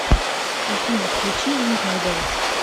афина включи ринг май беллс